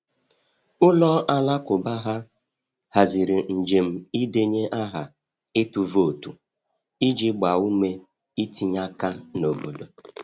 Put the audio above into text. Ụlọ alakụba ha haziri njem ịdenye aha ịtụ vootu iji gbaa ume itinye aka n’obodo.